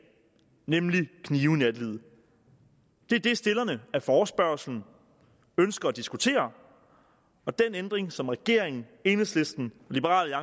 nemlig knive i nattelivet det er det stillerne af forespørgslen ønsker at diskutere og den ændring som regeringen enhedslisten og liberal